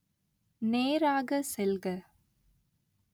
நேராக செல்க